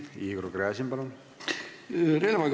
Igor Gräzin, palun!